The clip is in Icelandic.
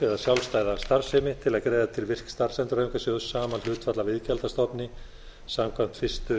eða sjálfstæða starfsemi til að greiða til virk starfsendurhæfingarsjóðs sama hlutfall af iðgjaldsstofni samkvæmt fyrstu